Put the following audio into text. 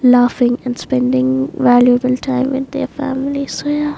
Laughing and spending valuable time with their family so yeah.